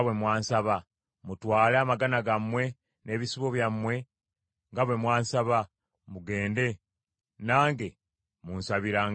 Mutwale amagana gammwe n’ebisibo byammwe nga bwe mwansaba, mugende; nange munsabirangayo omukisa!”